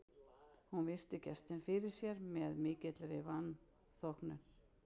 Hún virti gestinn fyrir sér með mikilli velþóknun.